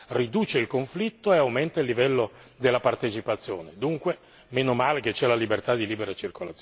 perché questo garantisce coesione sociale, riduce il conflitto e aumenta il livello della partecipazione.